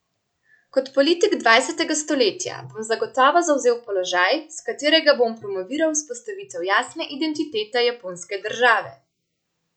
Kot politik dvajsetega stoletja bom zagotovo zavzel položaj, s katerega bom promoviral vzpostavitev jasne identitete japonske države.